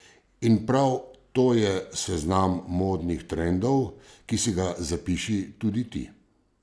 In prav to je seznam modnih trendov, ki si ga zapiši tudi ti!